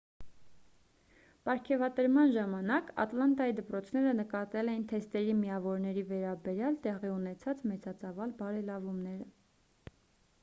պարգևատրման ժամանակ ատլանտայի դպրոցները նկատել էին թեստերի միավորների վերաբերյալ տեղի ունեցած մեծածավալ բարելավումները